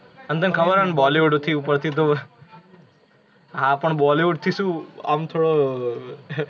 અને તને ખબર હે ને bollywood થી ઉપરથી તો, હા પણ bollywood થી શું આમ થોડો